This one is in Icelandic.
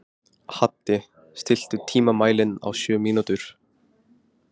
Haddi, stilltu tímamælinn á sjö mínútur.